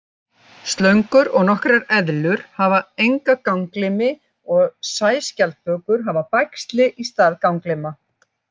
Slöngur og nokkrar eðlur hafa enga ganglimi og sæskjaldbökur hafa bægsli í stað ganglima.